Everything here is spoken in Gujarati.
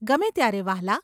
ગમે ત્યારે વહાલા.